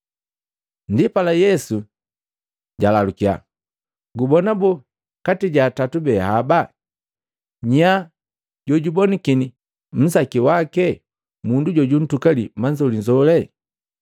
Ndipala Yesu jalalukya, “Gubona boo kati ja atatu be haba, nya jojabonakini nzake jake mundu jobuntukali manzolinzoli?”